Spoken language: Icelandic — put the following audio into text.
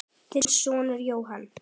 Þinn sonur Jóhann.